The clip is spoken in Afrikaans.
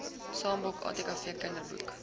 sambok atkv kinderboek